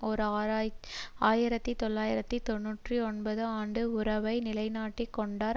ஓர் ஆயிரத்தி தொள்ளாயிரத்து தொன்னூற்றி ஒன்பது ஆண்டு உறவை நிலைநாட்டிக் கொண்டார்